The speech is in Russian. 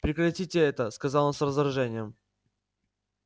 прекратите это сказал он с раздражением